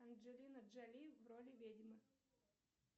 анджелина джоли в роли ведьмы